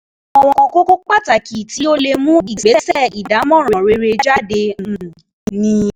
Àwọn kókó pàtàkì tí ó lè mú ìgbésẹ̀ ìdámọ̀ràn rere jáde um ni: